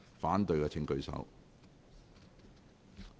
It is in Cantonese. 反對的請舉手。